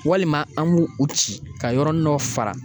Walima an b'u u ci ka yɔrɔnin dɔ fara